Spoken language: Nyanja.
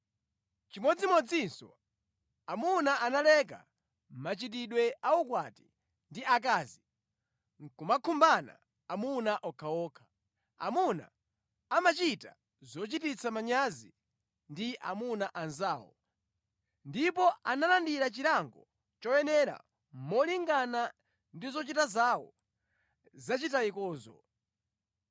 Chimodzimodzinso amuna analeka machitidwe a ukwati ndi akazi nʼkumakhumbana amuna okhaokha. Amuna ankachita zochitisa manyazizi ndi amuna anzawo, ndipo analandira chilango choyenera molingana ndi zochita zawo zachitayikozo.